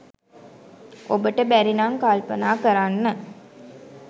ඔබට බැරි නම් කල්පනා කරන්න